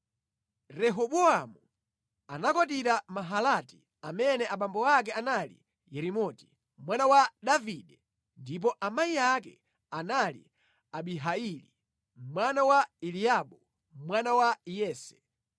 Rehobowamu anakwatira Mahalati, amene abambo ake anali Yerimoti, mwana wa Davide, ndipo amayi ake anali Abihaili, mwana wa Eliabu, mwana wa Yese.